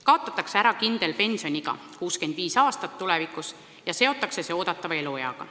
Kaotatakse ära kindel pensioniiga 65 eluaastat, tulevikus seotakse see eeldatava elueaga.